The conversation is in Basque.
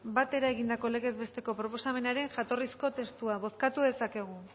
batera egindako legez besteko proposamenaren jatorrizko testua bozkatu dezakegu